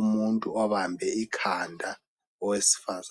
umuntu obambe ikhanda owesifazane